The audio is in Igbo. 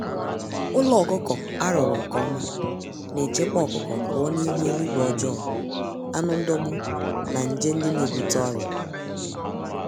Ụlọ ọkụkọ arụrụ nke ọma nechekwa ọkụkọ pụọ n'ihu eluigwe ọjọọ, anụ ndọgbu na nje ndị n'ebute ọrịa